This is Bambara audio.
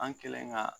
An kɛlen ka